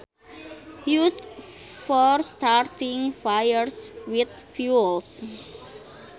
Used for starting fires with fuels